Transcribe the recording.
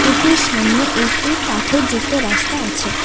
এটির সামনে একটি পাথরযুক্ত রাস্তা আছে।